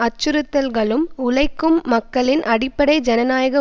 அச்சுறுத்தல்களும் உழைக்கும் மக்களின் அடிப்படை ஜனநாயக